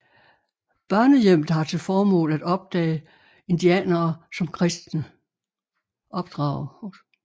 Børnehjemmet har til formål at opdrage indianere som kristne